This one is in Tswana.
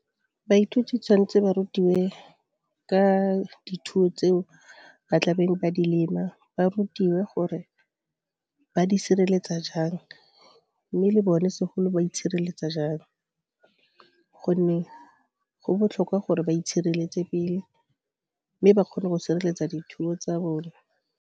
Baithuti tshwanetse ba rutiwe ka dithuo tseo ba tla beng ba di lema, ba rutiwe gore ba di sireletsa jang, mme le bone segolo ba itshireletsa jang gonne go botlhokwa gore ba itshireletse pele, mme ba kgone go sireletsa dithuo tsa bone.